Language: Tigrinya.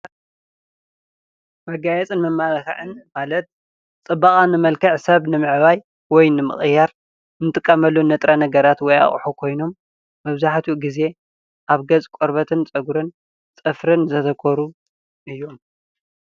መጋየፅን መማለክዕን ማለት ፅባቀ መልክዕ ሰብ ንምዕባይ ወይ ንምቅያር ንጥቀመሉ ንጥረ ነገራት ወይ ኣቁሑ ኮይኑ መብዛሕትኦ ግዜ ኣብ ገፅ፣ ቆርበት፣ ፅገሪን ፅፍርን ዘተኮረ እዩ፡፡